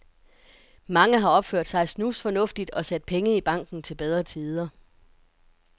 Mange har opført sig snusfornuftigt og sat penge i banken til bedre tider.